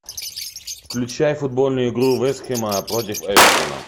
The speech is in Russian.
включай футбольную игру вест хэма против эвертона